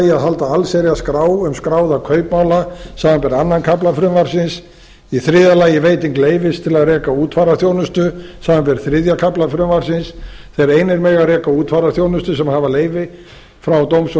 að halda allsherjarskrá um skráða kaupmála samanber aðra kafla frumvarpsins í þriðja lagi veiting leyfis til að reka útfararþjónustu samanber þriðja kafla frumvarpsins þeir einir mega reka útfararþjónustu sem hafa leyfi frá dóms og